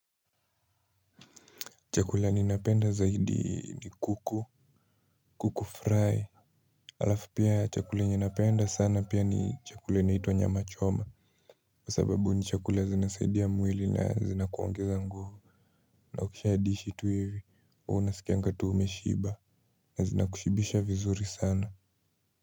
Chakula ninapenda zaidi ni kuku. Kuku fry. Alafu pia ya chakula yenye napenda sana pia ni chakula inaitwa nyama choma. Kwa sababu ni chakula zinasaidia mwili na zinakuongeza nguvu. Na ukisha dishi tu hivi, unasikianga tu umeshiba na zinakushibisha vizuri sana.